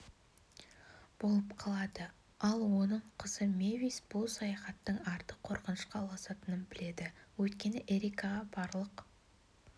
болып қалады ал оның қызы мэвис бұл саяхаттың арты қорқынышқа ұласатынын біледі өйткені эрика барлық